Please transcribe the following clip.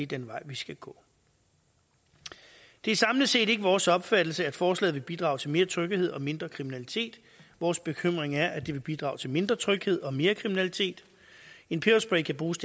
den vej vi skal gå det er samlet set ikke vores opfattelse at forslaget vil bidrage til mere tryghed og mindre kriminalitet vores bekymring er at det vil bidrage til mindre tryghed og mere kriminalitet en peberspray kan bruges